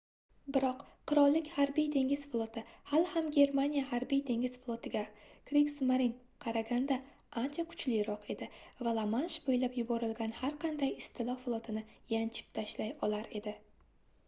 biroq qirollik harbiy-dengiz floti hali ham germaniya harbiy-dengiz flotiga kriegsmarine qaraganda ancha kuchliroq edi va la-mansh bo'ylab yuborilgan har qanday istilo flotini yanchib tashlay olar edi